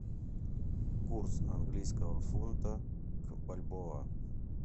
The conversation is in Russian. курс английского фунта к бальбоа